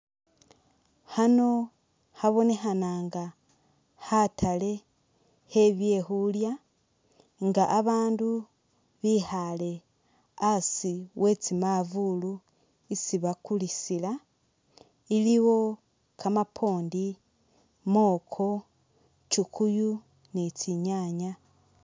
Khano khabonekhana nga khatale khe byekhulya nga abandu bikhale asi we tsi'mavulu isi bakulisila ,iliwo kamapondi, mwokwo, kyukuyu ni tsi'nyanya